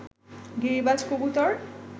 গিরিবাজ কবুতর